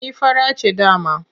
Ni fara ce dama.